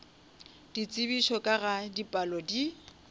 ditsebišo ka ga dipalo di